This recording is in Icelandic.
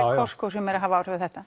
Costco sem er að hafa áhrif á þetta